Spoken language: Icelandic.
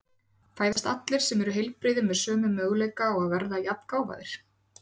Fæðast allir sem eru heilbrigðir með sömu möguleika á að verða jafngáfaðir?